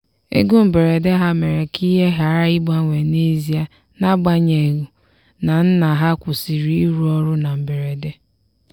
ego mberede ha mere ka ihe ghara ịgbanwe n'ezie n'agbanyeghu na nna ha kwụsịrị ịrụ ọrụ na mberede.